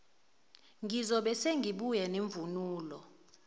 ngiyobe sengibuya nemvunulo